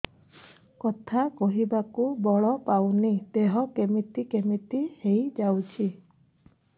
କଥା କହିବାକୁ ବଳ ପାଉନି ଦେହ କେମିତି କେମିତି ହେଇଯାଉଛି